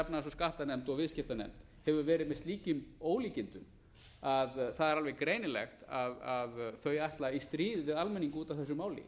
efnahags og skattanefnd og viðskiptanefnd hefur verið með slíkum ólíkindum að það er alveg greinilegt að þau ætla í stríð við almenning út af þessu máli